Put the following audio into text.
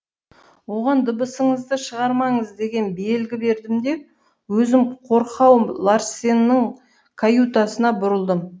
оған дыбысыңызды шығармаңыз деген белгі бердім де өзім қорқау ларсеннің каютасына бұрылдым